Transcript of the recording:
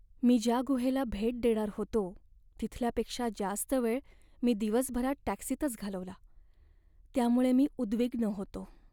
मी ज्या गुहेला भेट देणार होतो तिथल्यापेक्षा जास्त वेळ मी दिवसभरात टॅक्सीतच घालवला त्यामुळे मी उद्विग्न होतो.